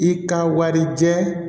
I ka warijɛ